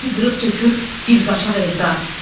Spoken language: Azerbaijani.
Bizi qırıb tökür bir qaçaq Eldar.